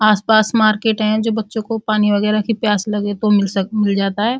आस-पास मार्केट हैं जो बच्चों को पानी वगैरह की प्यास लगे तो मिल जाता है।